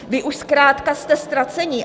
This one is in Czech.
Vy už zkrátka jste ztraceni."